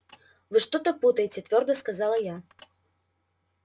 вы что-то путаете твёрдо сказала я